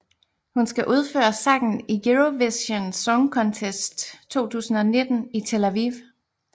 Hun skal udføre sangen i Eurovision Song Contest 2019 i Tel Aviv